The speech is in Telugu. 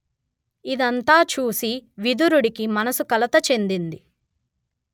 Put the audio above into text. ఇదంతా చూసి విదురుడికి మనసు కలత చెందింది